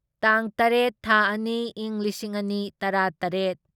ꯇꯥꯡ ꯇꯔꯦꯠ ꯊꯥ ꯑꯅꯤ ꯢꯪ ꯂꯤꯁꯤꯡ ꯑꯅꯤ ꯇꯔꯥꯇꯔꯦꯠ